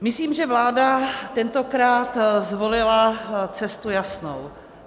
Myslím, že vláda tentokrát zvolila cestu jasnou.